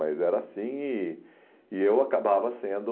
Mas era assim e e eu acabava sendo...